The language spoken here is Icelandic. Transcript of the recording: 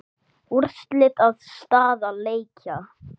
Úrslit og staða leikja